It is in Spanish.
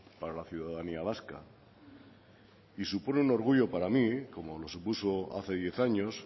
para la ciudadanía vasca y supone un orgullo para mí como lo supuso hace diez años